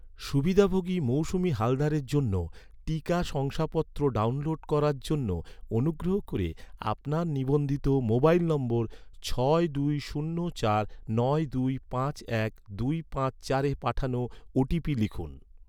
সুবিধাভোগী মৌসুমি হালদারের জন্য, টিকা শংসাপত্র ডাউনলোড করার জন্য, অনুগ্রহ করে আপনার নিবন্ধিত মোবাইল নম্বর ছয় দুই শূন্য চার নয় দুই পাঁচ এক দুই পাঁচ চারে পাঠানো ওটিপি লিখুন